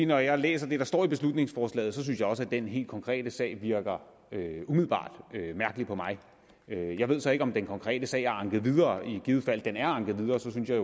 når jeg læser det der står i beslutningsforslaget synes jeg også at den helt konkrete sag umiddelbart virker mærkelig jeg ved så ikke om den konkrete sag er anket videre og i givet fald den er anket videre så synes jeg